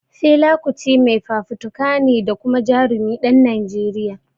Fela Kuti mai fafutuka ne da kuma Jarumin ɗan Najeriya